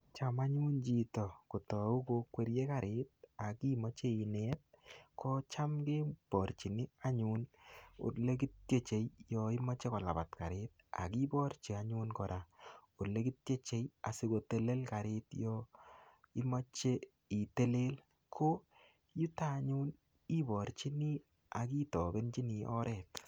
Cham anyun chito kotau kokwerie karit, akimache inet, kocham keborchin anyun ole kitiechei, yoimeche kolabat karit. Akiborchi anyun kora ole kitieche asikotelel karit yoimache itelel. Ko yutok anyun, iborchini akitobenchini oret.